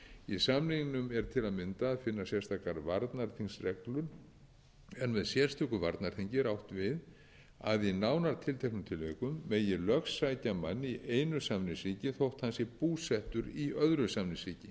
í samningnum er til að mynda að finna sérstakar varnarþingsreglur en með sérstöku varnarþingi er átt við að í nánar tilteknum tilvikum megi lögsækja mann í einu samningsríki þótt hann sé búsettur í öðru samningsríki